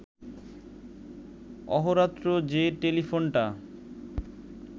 অহোরাত্র যে টেলিফোনটা